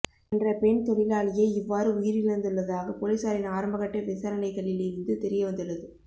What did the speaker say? என்ற பெண் தொழிலாளியெ இவ்வாறு உயிர் இழந்துள்ளதாக பொலிஸாரின் ஆரம்பகட்ட விசாரனைகளில் இருந்து தெரியவந்துள்ளது